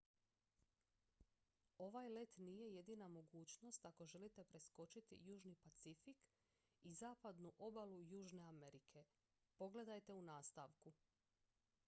ovaj let nije jedina mogućnost ako želite preskočiti južni pacifik i zapadnu obalu južne amerike. pogledajte u nastavku